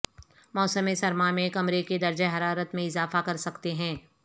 موسم سرما میں کمرے کے درجہ حرارت میں اضافہ کر سکتے ہیں